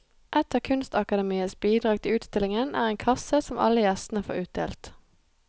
Et av kunstakademiets bidrag til utstillingen er en kasse som alle gjestene får utdelt.